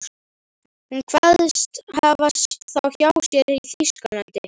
Hún kveðst hafa þá hjá sér í Þýskalandi.